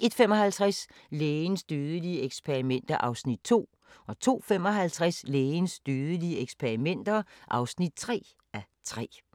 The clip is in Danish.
01:55: Lægens dødelige eksperimenter (2:3) 02:55: Lægens dødelige eksperimenter (3:3)